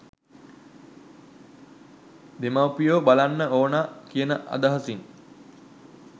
දෙමව්පියෝ බලන්න ඕන කියන අදහසින්